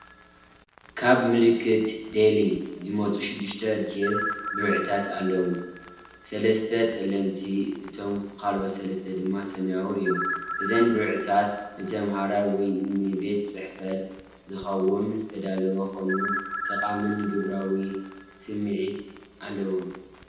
ካብ ምልክት ዴሊ ዝመጹ ሽዱሽተ ጀል ብርዒታት ኣለዋ። ሰለስተ ጸለምቲ እቶም ካልኦት ሰለስተ ድማ ሰማያዊ እዮም። እዘን ብርዒታት ንተማሃሮ ወይ ንቤት ጽሕፈት ዝኸውን ዝተዳለዋ ኮይነን፡ ጠቓምን ግብራውን ስምዒት ኣለወን።